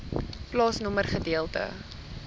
plaasnommer gedeelte